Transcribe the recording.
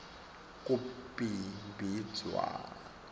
kubhimbidvwane